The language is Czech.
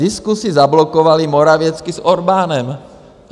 Diskusi zablokovali Morawiecki s Orbánem.